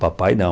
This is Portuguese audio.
Papai, não.